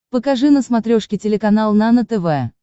покажи на смотрешке телеканал нано тв